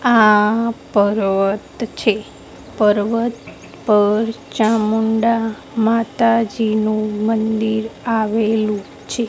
આ પર્વત છે પર્વત પર ચામુંડા માતાજીનુ મંદિર આવેલુ છે.